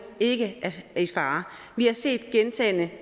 ikke er i fare vi har set gentagne